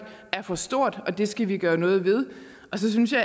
er for stort det skal vi gøre noget ved så synes jeg